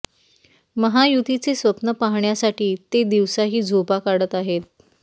महायुतीचे स्वप्न पाहण्यासाठी ते दिवसाही झोपा काढत आहेत